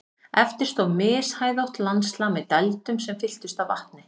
Eftir stóð mishæðótt landslag með dældum sem fylltust af vatni.